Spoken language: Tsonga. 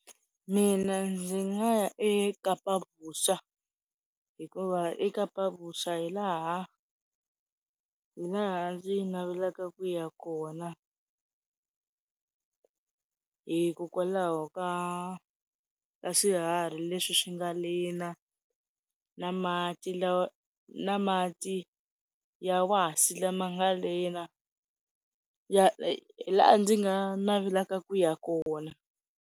Mina ndzi nga ya eKapavuxa hikuva eKapavuxa hilaha, hilaha ndzi navelaka ku ya kona hikokwalaho ka ka swiharhi leswi swi nga lena, na mati na mati ya wasi lama nga leni hilaha ndzi nga navelaka ku ya kona.